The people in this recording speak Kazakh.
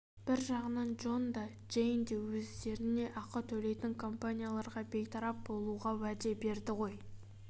бір жағынан джон да джейн де өздеріне ақы төлейтін компанияларға бейтарап болуға уәде берді ғой